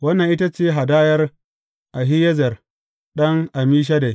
Wannan ita ce hadayar Ahiyezer ɗan Ammishaddai.